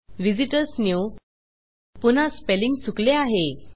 visitors new पुन्हा spelling चुकले आहे